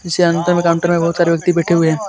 इस काउंटर में बहुत सारे व्यक्ति बैठे हुए हैं.